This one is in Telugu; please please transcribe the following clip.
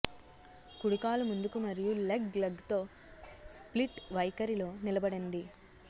కుడి కాలు ముందుకు మరియు లెగ్ లెగ్ తో స్ప్లిట్ వైఖరిలో నిలబడండి